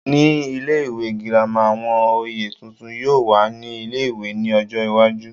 Ní ilé ìwé girama, àwọn oyè tuntun yóò wà ní ilé-ìwé ní ọjọ́ iwájú